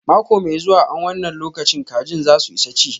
Mako mai zuwa an wanna lokacin kajin za su isa chi.